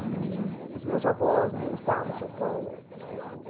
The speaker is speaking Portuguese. E os meus avós não estavam em São Paulo eh.